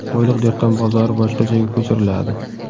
"Qo‘yliq" dehqon bozori boshqa joyga ko‘chiriladi.